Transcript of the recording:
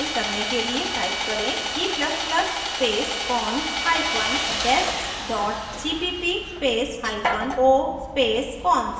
compile करने के लिए type करें g ++ space cons hyphen dest dot cpp space hyphen o space cons